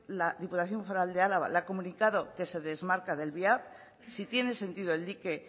la diputación foral de álava le ha comunicado que se desmarca del viap si tiene sentido el dique